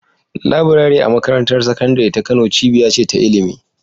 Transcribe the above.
Laburare a Makarantar Sakandare ta Kano cibiya ce ta ilimi.